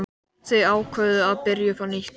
Þau ákváðu að byrja upp á nýtt.